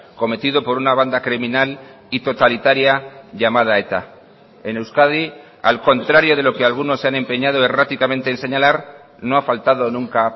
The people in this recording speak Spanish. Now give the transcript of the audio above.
cometido por una banda criminal y totalitaria llamada eta en euskadi al contrario de lo que algunos se han empeñado erráticamente en señalar no ha faltado nunca